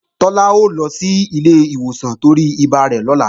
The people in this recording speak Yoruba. Tọ́lá ó lọ sí ilé ìwòsàn torí ibà rẹ̀ lọ́la